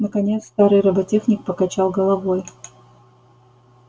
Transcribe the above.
наконец старый роботехник покачал головой